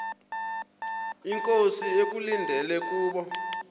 inkosi ekulindele kubo